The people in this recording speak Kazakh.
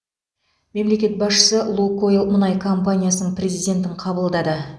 мемлекет басшысы лукойл мұнай компаниясының президентін қабылдады